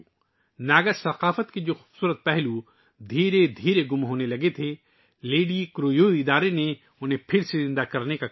تنظیم نے ناگا ثقافت کے ، ان خوبصورت پہلوؤں کو زندہ کرنے کا کام شروع کیا ہے ، جو ختم جانے کے دہانے پر تھے